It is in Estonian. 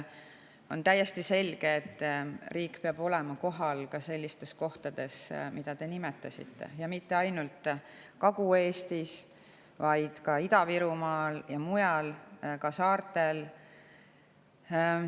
On täiesti selge, et riik peab olema kohal ka sellistes kohtades, mida te nimetasite, ja mitte ainult Kagu-Eestis, vaid ka Ida-Virumaal ja mujal, ka saartel.